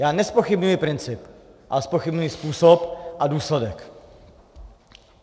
Já nezpochybňuji princip, ale zpochybňuji způsob a důsledek.